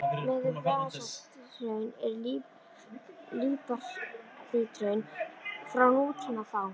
Miðað við basalthraun eru líparíthraun frá nútíma fá.